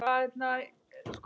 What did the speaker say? Túnis getur átt við um